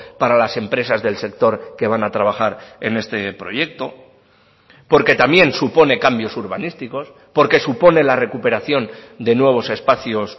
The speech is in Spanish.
para las empresas del sector que van a trabajar en este proyecto porque también supone cambios urbanísticos porque supone la recuperación de nuevos espacios